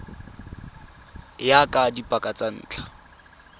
ya ka dipaka tsa ntlha